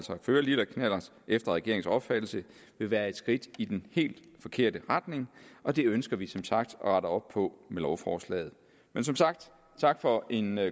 føre lille knallert efter regeringens opfattelse vil være et skridt i den helt forkerte retning og det ønsker vi som sagt at rette op på med lovforslaget men som sagt tak for en